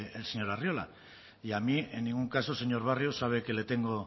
el señor arriola y a mí en ningún caso señor barrio sabe que le tengo